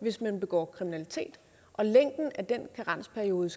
hvis man begår kriminalitet og længden af den karensperiode